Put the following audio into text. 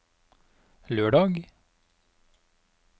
lørdag